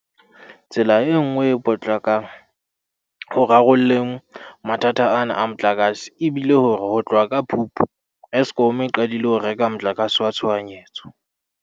Tsela e nngwe e potlakang ho rarolleng mathata ana a motlakase e bile hore ho tloha ka Phupu, Eskom e qadile ho reka motlakase wa tshohanyetso.